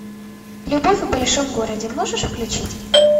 любовь в большом городе можешь включить